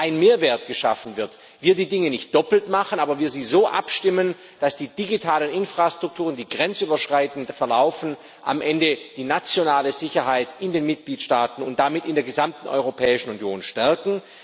ein Mehrwert geschaffen wird, das wir die Dinge nicht doppelt machen, aber wir sie so abstimmen, dass die digitalen Infrastrukturen, die grenzüberschreitend verlaufen, am Ende die nationale Sicherheit in den Mitgliedstaaten und damit in der gesamten Europäischen Union stärken.